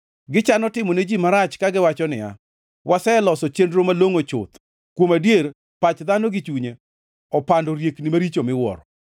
Gichano timo ne ji marach kagiwacho niya, “Waseloso chenro malongʼo chuth!” Kuom adier, pach dhano gi chunye opando riekni maricho miwuoro.